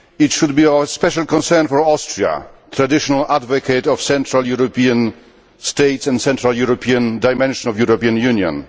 It should be a special concern for Austria, a traditional advocate of Central European states and the Central European dimension of the European Union.